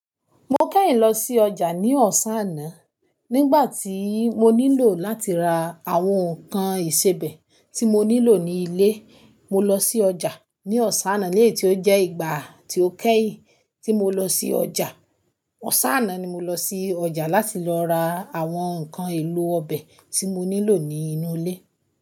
Mo kẹ́yìn lọ sí ọjà ní ọ̀sán àná. Nígbà tí mo nílò láti ra àwọn nǹkan ìsebẹ̀ tí mo nílò ní ilé, mo lọ sí ọjà ní ọ̀sán àná. Lẹ́yìn tí ó jẹ́ ìgbà tí ó kẹ́yìn tí mo lọ sí ọjà. Ọ̀sán àná ni mo lọ sí ọjà láti lọ ra àwọn nǹkan èlò ọbẹ̀ tí mo nílò ní inú ilé.